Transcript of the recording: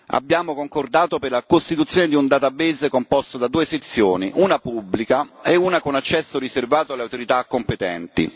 Abbiamo concordato la costituzione di una banca dati articolata in due sezioni, una pubblica e una con accesso riservato alle autorità competenti